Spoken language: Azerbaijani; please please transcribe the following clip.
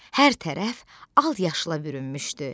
Hər tərəf al yaşla bürünmüşdü.